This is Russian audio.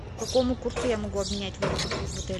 по какому курсу я могу обменять валюту в отеле